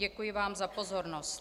Děkuji vám za pozornost.